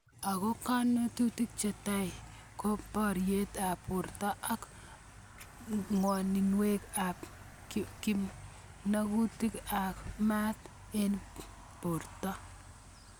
Ako konunotik chetai ko birtoet ab borto ak ng'aninwokik ab kimnatutik ak maat eng birto.